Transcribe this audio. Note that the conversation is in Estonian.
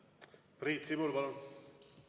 Priit Sibul, palun!